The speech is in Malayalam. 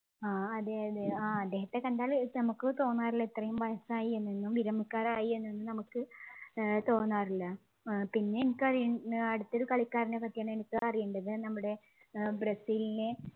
ആഹ് അതെയതെ ആഹ് അദ്ദേഹത്തെ കണ്ടാൽ നമുക്ക് തോന്നാറിള്ള ഇത്രയും വയസ്സായി എന്നും വിരമിക്കാറായി എന്നും ഒന്നും നമുക്ക് ഏർ തോന്നാറില്ല ഏർ പിന്നെ എനിക്കറിയ അടുത്തൊരു കളിക്കാരനെ പറ്റിയാണ് എനിക്കറിയേണ്ടത് നമ്മുടെ ബ്രസീലിലെ